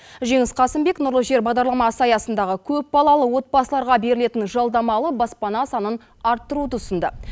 жеңіс қасымбек нұрлы жер бағдарламасы аясындағы көпбалалы отбасыларға берілетін жалдамалы баспана санын арттыруды ұсынды